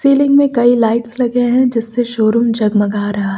Ceiling में कई lights लगे हैं जिससे शोरूम जगमगा रहा है।